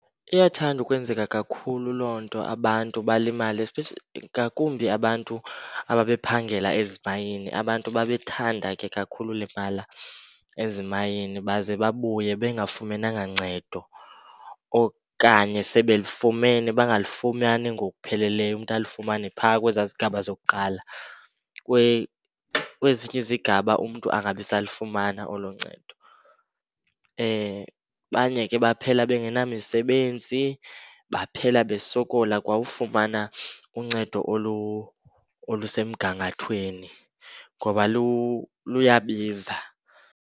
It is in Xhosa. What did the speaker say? Iyathanda ukwenzeka kakhulu loo nto abantu balimale ngakumbi abantu ababephangela ezimayini. Abantu babethanda kakhulu ulimala ezimayini baze babuye bengafumananga ncedo okanye sebelifumene bangalifumani ngokupheleleyo, umntu alifumane phaa kwezaa zigaba zokuqala. Kwezinye izigaba umntu angabisalifumana olo ncedo. Abanye ke baphela bengenamisebenzi baphela basokola kwa ufumana uncedo olusemgangathweni ngoba luyabiza.